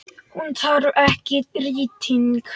Hún þarf ekki rýting.